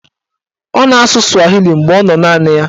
Ọ na-asụ swahili mgbe ọ nọ naanị ya.